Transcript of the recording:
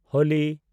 Holi